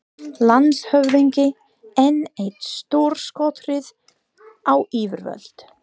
LANDSHÖFÐINGI: Enn ein stórskotahríð á yfirvöld!